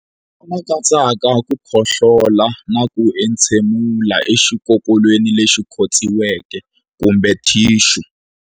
Lama katsaka ku khohlola na ku entshemulela exikokolweni lexi khotsiweke kumbe thixu.